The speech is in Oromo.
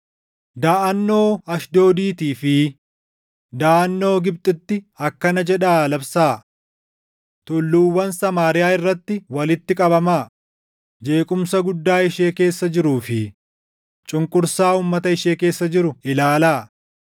Daʼannoo Ashdoodiitii fi daʼannoo Gibxitti akkana jedhaa labsaa: “Tulluuwwan Samaariyaa irratti walitti qabamaa; jeequmsa guddaa ishee keessa jiruu fi cunqursaa uummata ishee keessa jiru ilaalaa.”